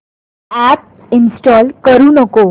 app install करू नको